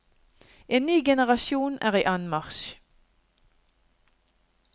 En ny generasjon er i anmarsj.